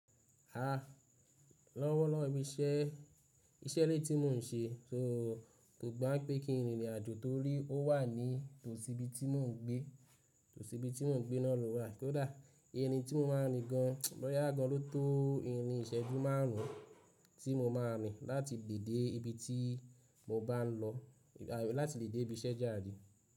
A, lọ́wọ́lọ́wọ́ iṣẹ́, iṣẹ́ ilé tí mò ń ṣe, so kò gbá pé kí n rin ìrìn àjò torí ó wà ní tòsí ibi tí mò ń gbé, tòsí ibi tí mò ń gbé náà ló wà. Kódà irin tí mo máa ń rìn gan bọ́ ya gan ló tó irin ìṣẹ́jú márùn ún tí mo máa ń rìn láti ìbèdé ibi tí mo bá ń lọ, láti ìbèdé ibi iṣẹ́ járe.